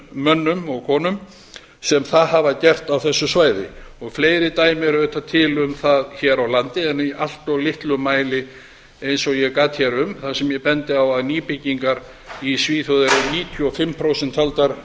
mönnum og konum sem það hafa gert á þessu svæði fleiri dæmi eru auðvitað til um það hér á landi en í allt of litlum mæli eins og ég gat hér um þar sem ég bendi á að nýbyggingar í svíþjóð eru níutíu og fimm prósent taldar